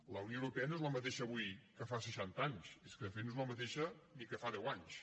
la unió europea no és la mateixa avui que fa seixanta anys és que de fet no és la mateixa ni que fa deu anys